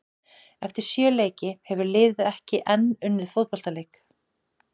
Eftir sjö leiki hefur liðið ekki enn unnið fótboltaleik.